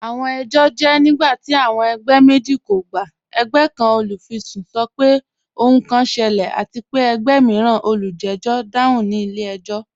Awọn ẹjọ jẹ nigbati awọn ẹgbẹ meji kò gbà. Ẹ̀gbẹ̀ kan, olufisun, sọ̀ pẹ̀ ohun kan ṣẹlẹ̀, àti pe ẹ̀gbẹ̀ miiran, olùjẹ̀jọ̀, dáhùn ni ilẹ̀-ẹjọ̀."